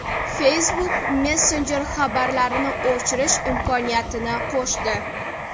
Facebook Messenger xabarlarni o‘chirish imkoniyatini qo‘shdi.